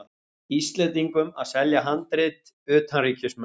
Íslendingum að selja handrit utanríkismönnum.